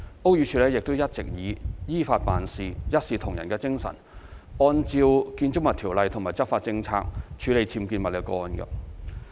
屋宇署亦一直以依法辦事、一視同仁的精神，按照《建築物條例》及執法政策處理僭建物個案。